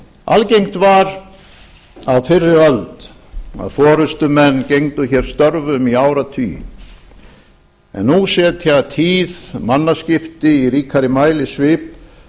algengt var á fyrri öld að forustumenn gegndu hér störfum í áratugi en nú setja tíð mannaskipti í ríkari mæli svip